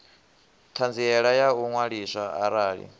ṱhanziela ya u ṅwaliswa arali